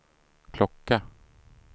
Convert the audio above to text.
klocka